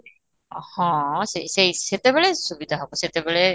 ହଁ, ସେଇ ସେଇ ସେତେବେଳେ ସୁବିଧା ହେବ ସେତେବେଳେ